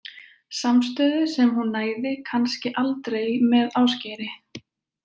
Samstöðu sem hún næði kannski aldrei með Ásgeiri.